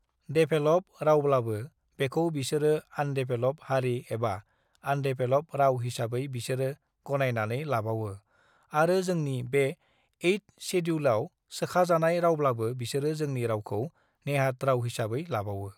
Develop (Developed) रावब्लाबो बेखौ बिसोरो आनडेभेल'प (Undeveloped) हारि एबा आनडेभेल'प (Undeveloped) राव हिसाबै बिसोरो गनायनानै लाबावो आरो जोंनि बे एइट (Eight) सेड्युलआव सोजाखानाय रावब्लाबो बिसोरो जोंनि रावखौ नेहाथ राव हिसाबै लाबावो।